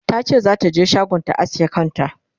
tace zata je shagon ta aske kanta